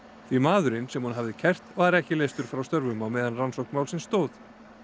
því maðurinn sem hún hafði kært var ekki leystur frá störfum á meðan rannsókn málsins stóð